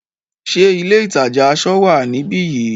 Ṣé ilé ìtajà aṣọ wá níbi yìí?